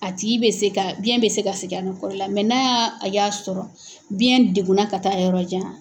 A tigi bɛ se ka biyɛn bɛ se ka segin a nɔ kɔrɔ la n'a y'a a y'a sɔrɔ biyɛn degunna ka taa yɔrɔ jan.